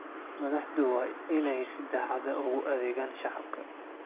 Madaxdu waa inay si daacad ah ugu adeegaan shacabka.